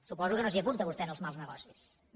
suposo que no s’hi apunta vostè als mals negocis no